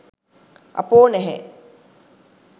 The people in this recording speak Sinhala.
අ‍පෝ නැහැ